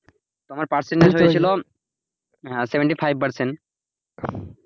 তো আমার percentage হয়ে ছিল seventy five percent